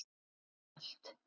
Þó ekki allt.